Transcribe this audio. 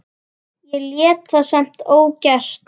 Ég lét það samt ógert.